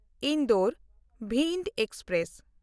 Indore Bhind express